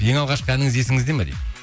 ең алғашқы әніңіз есіңізде ме дейді